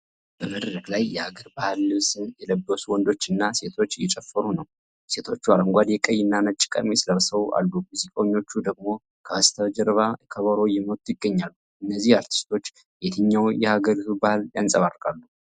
በመድረክ ላይ የሀገር ባህል ልብስ የለበሱ ወንዶችና ሴቶች እየጨፈሩ ነው። ሴቶቹ አረንጓዴ፣ ቀይና ነጭ ቀሚስ ለብሰው አሉ፣ ሙዚቀኞች ደግሞ ከበስተጀርባ ከበሮ እየመቱ ይገኛሉ። እነዚህ አርቲስቶች የየትኛውን የሀገሪቱን ባህል ያንፀባርቃሉ?